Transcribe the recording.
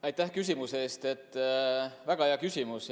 Aitäh küsimuse eest, väga hea küsimus!